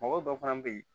Mɔgɔ dɔ fana bɛ yen